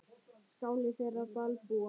Skáli þeirra Dalbúa.